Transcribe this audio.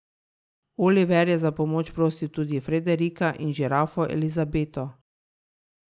Oliver je za pomoč prosil tudi Frederika in žirafo Elizabeto.